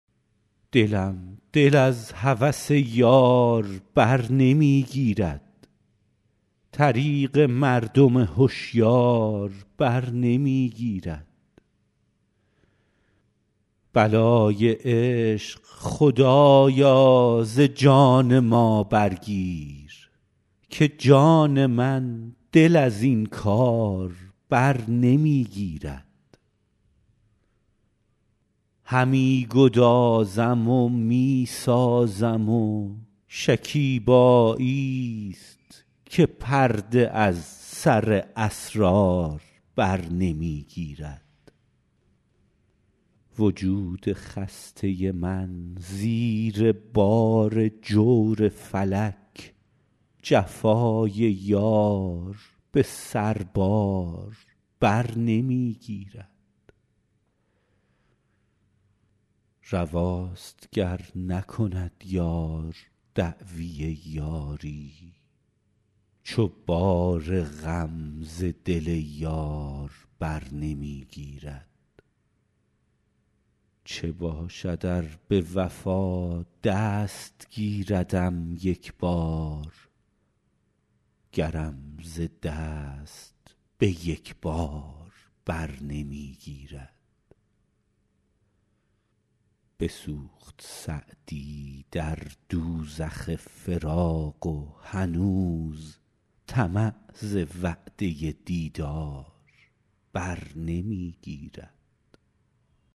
دلم دل از هوس یار بر نمی گیرد طریق مردم هشیار بر نمی گیرد بلای عشق خدایا ز جان ما برگیر که جان من دل از این کار بر نمی گیرد همی گدازم و می سازم و شکیباییست که پرده از سر اسرار بر نمی گیرد وجود خسته من زیر بار جور فلک جفای یار به سربار بر نمی گیرد رواست گر نکند یار دعوی یاری چو بار غم ز دل یار بر نمی گیرد چه باشد ار به وفا دست گیردم یک بار گرم ز دست به یک بار بر نمی گیرد بسوخت سعدی در دوزخ فراق و هنوز طمع ز وعده دیدار بر نمی گیرد